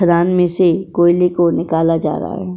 खदान में से कोयले को निकाला जा रहा है।